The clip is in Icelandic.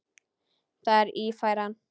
Það er Ífæran.